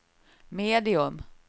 medium